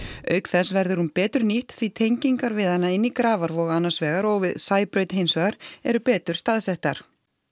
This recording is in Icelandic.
auk þess verður hún betur nýtt því tengingar við hana inn í Grafarvog annars vegar og við Sæbraut hins vegar eru betur staðsettar